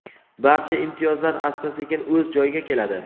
Barcha imtiyozlar asta-sekin o‘z joyiga keladi.